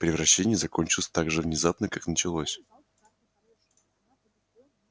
превращение закончилось так же внезапно как началось